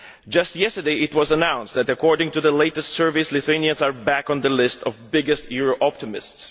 Just yesterday it was announced that according to the latest surveys Lithuanians are back on the list of the biggest euro optimists.